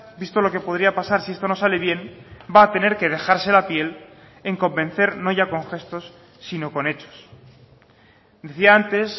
visto lo que podría pasar si esto no sale bien va a tener que dejarse la piel en convencer no ya con gestos sino con hechos decía antes